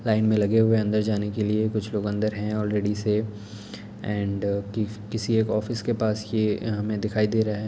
Line में लगे हुए अंदर जाने के लिए कुछ लोग है आलरेडी से एंड कि-किसी एक ऑफिस के पास ये हमे दिखाई दे रहा है।